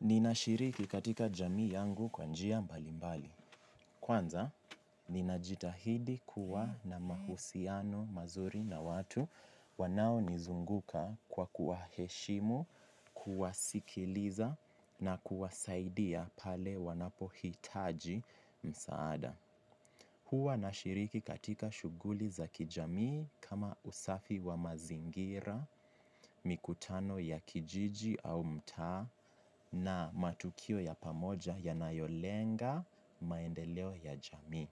Ninashiriki katika jamii yangu kwa njia mbalimbali. Kwanza, ninajitahidi kuwa na mahusiano mazuri na watu wanaonizunguka kwa kuwa heshimu, kuwasikiliza na kuwasaidia pale wanapohitaji msaada. Huwa nashiriki katika shughuli za kijamii kama usafi wa mazingira, mikutano ya kijiji au mtaa na matukio ya pamoja yanayolenga maendeleo ya jamii.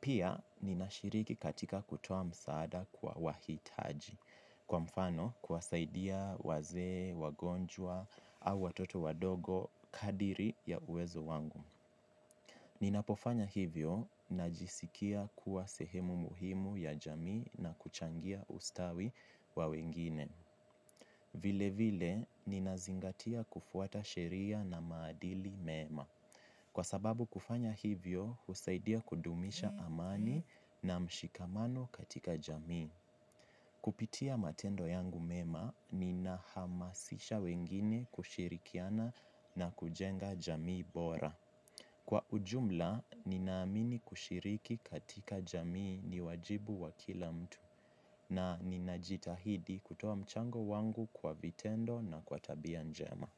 Pia nina shiriki katika kutoa msaada kwa wahitaji kwa mfano kuwasaidia wazee, wagonjwa au watoto wadogo kadiri ya uwezo wangu. Ninapofanya hivyo najisikia kuwa sehemu muhimu ya jamii na kuchangia ustawi wa wengine. Vile vile, ninazingatia kufuata sheria na maadili mema. Kwa sababu kufanya hivyo, husaidia kudumisha amani na mshikamano katika jamii. Kupitia matendo yangu mema, ninahamasisha wengine kushirikiana na kujenga jamii bora. Kwa ujumla, ninaamini kushiriki katika jamii ni wajibu wa kila mtu na ninajitahidi kutoa mchango wangu kwa vitendo na kwa tabia njema.